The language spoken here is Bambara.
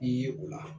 Ye o la